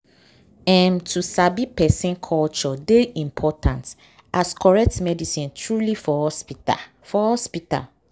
um to sabi person culture dey important as correct medicine truely for hospital. for hospital.